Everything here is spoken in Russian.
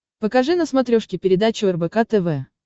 покажи на смотрешке передачу рбк тв